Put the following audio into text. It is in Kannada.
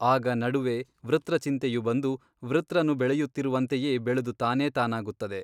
ಆಗ ನಡುವೆ ವೃತ್ರ ಚಿಂತೆಯು ಬಂದು ವೃತ್ರನು ಬೆಳೆಯುತ್ತಿರುವಂತೆಯೇ ಬೆಳೆದು ತಾನೇ ತಾನಾಗುತ್ತದೆ.